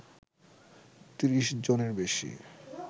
৩০ জনের বেশি